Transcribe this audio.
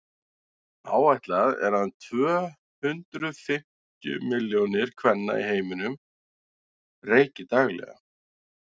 áætlað er að um tvö hundruð fimmtíu milljónir kvenna í heiminum reyki daglega